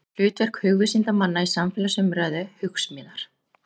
Hlutverk hugvísindamanna í samfélagsumræðu, Hugsmíðar.